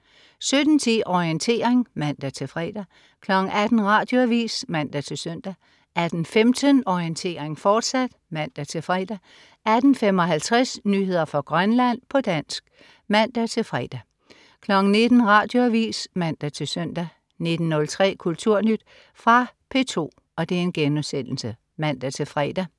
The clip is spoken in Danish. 17.10 Orientering (man-fre) 18.00 Radioavis (man-søn) 18.15 Orientering, fortsat (man-fre) 18.55 Nyheder fra Grønland, på dansk (man-fre) 19.00 Radioavis (man-søn) 19.03 Kulturnyt. Fra P2* (man-fre)